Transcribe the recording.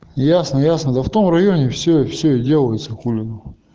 ясно ясно да в том районе все все и делается хули